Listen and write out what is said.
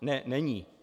Ne, není.